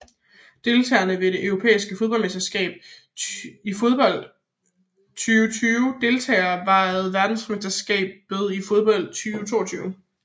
Deltagere ved det europæiske mesterskab i fodbold 2020 Deltagere ved verdensmesterskabet i fodbold 2022